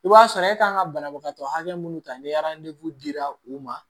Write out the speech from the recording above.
I b'a sɔrɔ e kan ka banabagatɔ hakɛ mun ta ni dira u ma